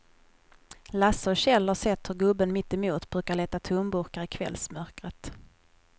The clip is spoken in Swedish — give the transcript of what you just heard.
Lasse och Kjell har sett hur gubben mittemot brukar leta tomburkar i kvällsmörkret.